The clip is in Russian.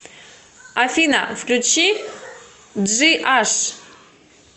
афина включи джи аш